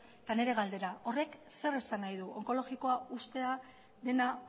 eta nire galdera horrek zer esan nahi du onkologikoa uztea dena